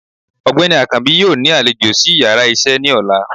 Ọgbeni akańbi yóò ni aléjọ̀ si íyarà iṣẹ ni òlá